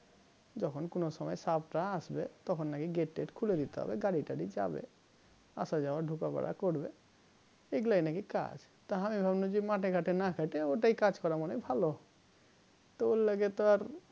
যখন কোন সময় সাব রা আসবে তখন নাকি gate টেট খুলে দিতে হবে গাড়ি তারি যাবে আসা-যাওয়ার ঢোকা বেরো করবে এগুলাই নাকি কাজ তা হামি ভাবলাম জি মাঠে-ঘাটে না খেটে ওটাই কাজ করা মানে ভালো তা ঐলেগে আর